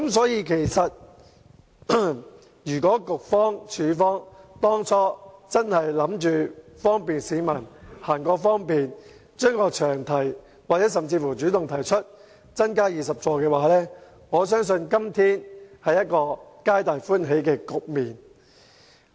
因此，如果局長、署方當初真的是希望為市民提供方便，並修改詳題甚至主動提出把座位增加至20個，我相信今天將會出現一個皆大歡喜的局面。